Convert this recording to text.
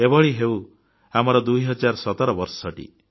ଏହିଭଳି ହେଉ ଆମର 2017 ବର୍ଷଟି